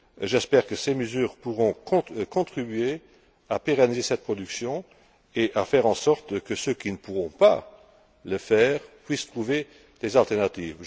J'espère que ces mesures pourront contribuer à pérenniser cette production et à faire en sorte que ceux qui ne pourront pas le faire puissent trouver des alternatives.